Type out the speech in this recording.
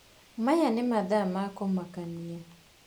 Maya nĩ mathaa ma kumakania.